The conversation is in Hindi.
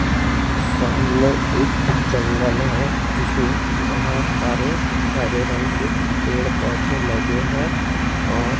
सामने एक जंगल है जिसमें बहोत सारे हरे रंग के पेड़ पौधे लगे हैं और--